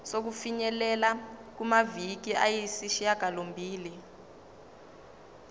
sokufinyelela kumaviki ayisishagalombili